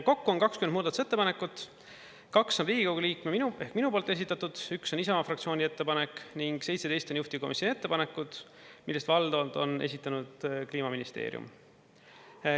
Kokku on 20 muudatusettepanekut, kaks on Riigikogu liikme, minu minu poolt esitatud, üks on Isamaa fraktsiooni ettepanek ning 17 on juhtivkomisjoni ettepanekud, mille valdavalt on esitanud Kliimaministeerium.